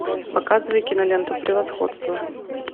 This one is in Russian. показывай киноленту превосходство